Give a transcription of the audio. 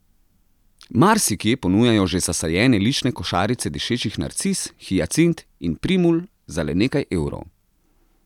Marsikje ponujajo že zasajene lične košarice dišečih narcis, hiacint in primul za le nekaj evrov.